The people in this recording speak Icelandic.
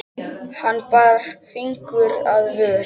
Hann bar fingur að vör.